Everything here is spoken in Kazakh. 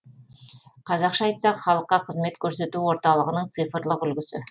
қазақша айтсақ халыққа қызмет көрсету орталығының цифрлық үлгісі